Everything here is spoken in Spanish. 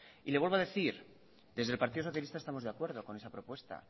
le vuelvo a decir desde el partido socialista estamos de acuerdo con esa propuesta